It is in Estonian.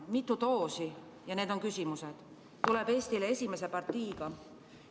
Mitu doosi tuleb Eestile esimese partiiga?